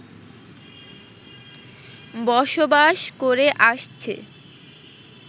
বসবাস করে আসছে